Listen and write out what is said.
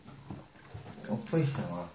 у пышма